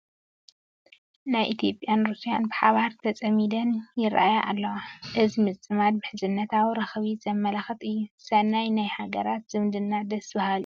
ናይ ኢትዮጵያን ሩስያን ባሓባር ቲፃሚደን ይርአያ ኣለዋ፡፡ እዚ ምፅማድ ምሕዝነታዊ ረኽቢ ዘመላክት እዩ፡፡ ሰናይ ናይ ሃገራት ዝምድና ደስ በሃሊ እዩ፡፡